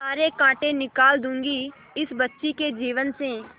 सारे कांटा निकाल दूंगी इस बच्ची के जीवन से